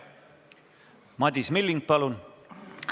Madis Milling, palun!